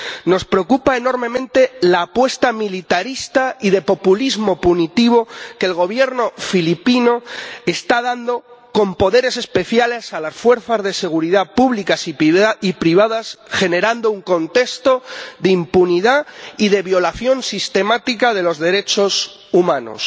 Nos preocupa enormemente la apuesta militarista y de populismo punitivo del Gobierno filipino, que da poderes especiales a las fuerzas de seguridad públicas y privadas, lo que genera un contexto de impunidad y de violación sistemática de los derechos humanos.